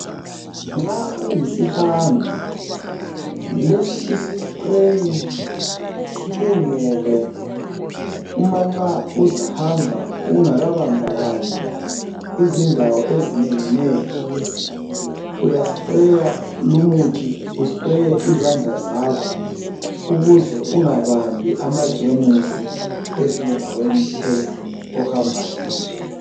Nxa uyisihambi lesi isi spray silungele uma nxa uzahamba ungaka bambabambi izindawo ezinenginengi. Uyasprayer lumuthi , uspraye izandla zakho ukuze ungabambi amajemusi ezindaweni ohamba kizo .